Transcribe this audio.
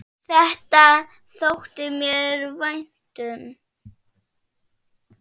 Þetta þótti mér vænt um.